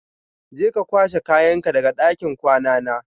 Je ka kwashe kayanka daga ɗakin kwana na.